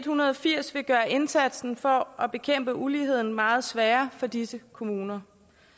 hundrede og firs vil gøre indsatsen for at bekæmpe uligheden meget sværere for disse kommuner